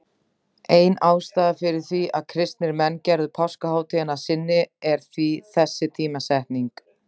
Ein ástæðan fyrir því að kristnir menn gerðu páskahátíðina að sinni er því þessi tímasetning.